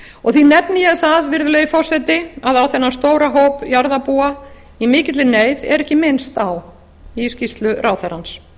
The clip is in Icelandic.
og því nefni ég það virðulegi forseti að á þennan stóra hóp jarðarbúa í mikilli neyð er ekki minnst í skýrslu ráðherrans